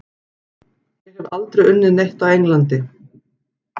Ég hef aldrei unnið neitt á Englandi.